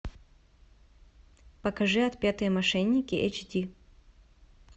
покажи отпетые мошенники эйчди